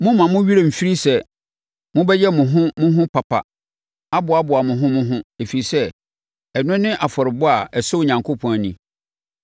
Mommma mo werɛ mfiri sɛ mobɛyɛ mo ho mo ho papa aboaboa mo ho mo ho, ɛfiri sɛ, ɛno ne afɔrebɔ a ɛsɔ Onyankopɔn ani.